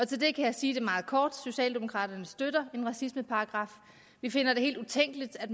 til det kan jeg sige meget kort socialdemokraterne støtter en racismeparagraf vi finder det helt utænkeligt at